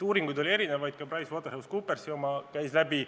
Uuringuid oli erinevaid, ka PricewaterhouseCoopersi oma käis läbi.